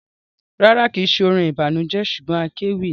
Rárá, kìí ṣe orin ìbànújẹ ṣugbọn akéwì ni.